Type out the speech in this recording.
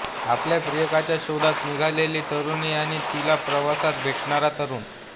आपल्या प्रियकराच्या शोधात निघालेली तरुणी आणि तिला प्रवासात भेटणारा तरुण